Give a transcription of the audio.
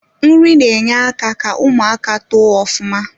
Nri na enye aka ka ụmụaka too ufuma